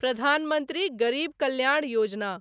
प्रधान मंत्री गरीब कल्याण योजना